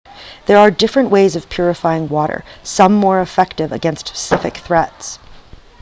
there are different ways of purifying water some more effective against specific threats